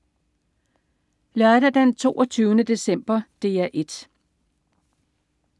Lørdag den 22. december - DR 1: